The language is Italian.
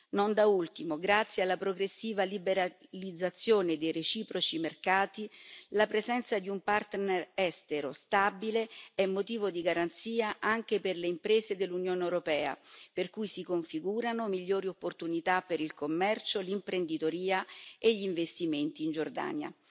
Non da ultimo, grazie alla progressiva liberalizzazione dei reciproci mercati, la presenza di un partner estero stabile è motivo di garanzia anche per le imprese dell'Unione europea per cui si configurano migliori opportunità per il commercio, l'imprenditoria e gli investimenti in Giordania.